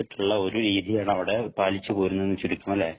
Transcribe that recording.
ഒരു രീതിയാണ്‌ അവിടെ പാലിച്ചു പോരുന്നതെന്ന് ചുരുക്കം അല്ലേ?